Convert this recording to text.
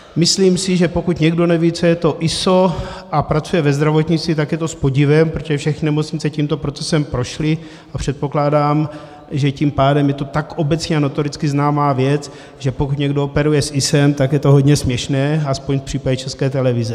Myslím si, že pokud někdo neví, co je to ISO, a pracuje ve zdravotnictví, tak je to s podivem, protože všechny nemocnice tímto procesem prošly a předpokládám, že tím pádem je to tak obecně a notoricky známá věc, že pokud někdo operuje s ISO, tak je to hodně směšné - aspoň v případě České televize.